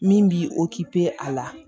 Min b'i a la